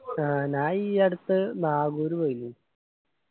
ആ ഞാൻ ഈ അടുത്ത് നാഗൂര് പോയിന്